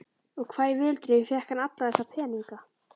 Og hvar í veröldinni fékk hann alla þessa peninga?